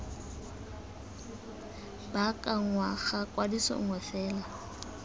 baakanngwa ga kwadiso nngwe fela